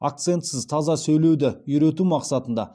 акцентсіз таза сөйлеуді үйрету мақсатында